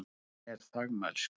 Og hún er þagmælsk.